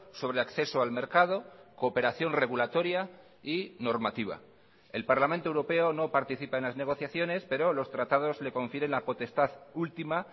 sobre acceso al mercado cooperación regulatoria y normativa el parlamento europeo no participa en las negociaciones pero los tratados le confieren la potestad última